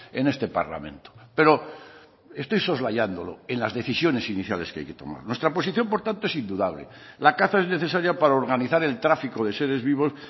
en este parlamento pero estoy soslayándolo en las decisiones iniciales que hay que tomar nuestra posición por tanto es indudable la caza es necesaria para organizar el tráfico de seres vivos